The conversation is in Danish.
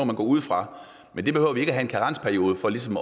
man gå ud fra men vi behøver ikke have en karensperiode for ligesom